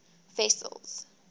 wessels